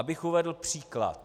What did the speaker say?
Abych uvedl příklad.